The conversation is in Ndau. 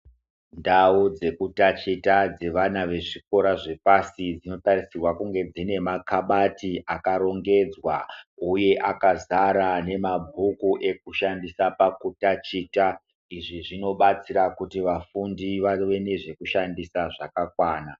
Ndau dzeku ndaticha dzevana vezvikora zvepashi zvinotarisirwa kunge dzine makabati akarongedzwa uye akazara nemabhuku ekushandisa pakundaticha izvi zvinobatsira kuti vafundi vave nezve kushandisa zvakakwana.